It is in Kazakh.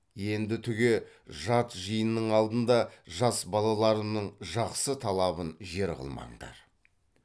енді түге жат жиынның алдында жас балаларымның жақсы талабын жер қылмаңдар